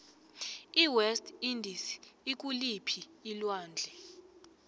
iwest indies ikuliphii alwandle